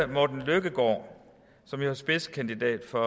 morten løkkegaard som jo er spidskandidat for